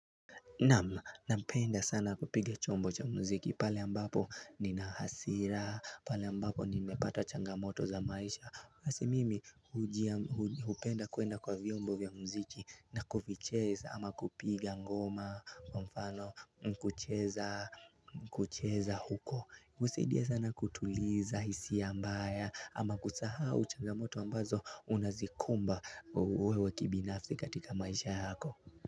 Napenda sana kupiga chombo cha muziki pale ambapo nina hasira, pale ambapo nimepata changamoto za maisha basi mimi hupenda kuenda kwa vyombo vya muziki na kuvicheza ama kupiga ngoma, kwa mfano kucheza kucheza huko husaidia sana kutuliza hisia mbaya ama kusahau changamoto ambazo unazikumba wewe kibinafsi katika maisha yako.